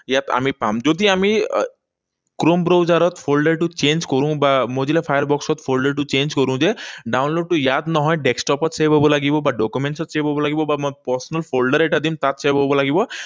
ইয়াত আমি পাম। যদি আমি chrome browser ত folder টো change কৰোঁ বা mozilla firefox ত folder টো change কৰোঁ যে download টো ইয়াত নহয়, desktop ত save হব লাগিব, বা documents ত save হব লাগিব, বা মই personal folder এটা দিম, তাত save হব লাগিব।